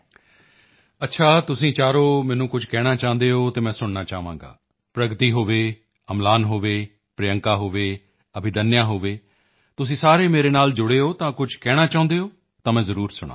ਅੱਛਾ ਤੁਸੀਂ ਚਾਰੋ ਮੈਨੂੰ ਕੁਝ ਕਹਿਣਾ ਚਾਹੁੰਦੇ ਹੋ ਤਾਂ ਮੈਂ ਸੁਣਨਾ ਚਾਹਾਂਗਾ ਪ੍ਰਗਤੀ ਹੋਵੇ ਅਮਲਾਨ ਹੋਵੇ ਪ੍ਰਿਯੰਕਾ ਹੋਵੇ ਅਭਿਦੰਨਯਾ ਹੋਵੇ ਤੁਸੀਂ ਸਾਰੇ ਮੇਰੇ ਨਾਲ ਜੁੜੇ ਹੋ ਤਾਂ ਕੁਝ ਕਹਿਣਾ ਚਾਹੁੰਦੇ ਹੋ ਤਾਂ ਮੈਂ ਜ਼ਰੂਰ ਸੁਣਾਂਗਾ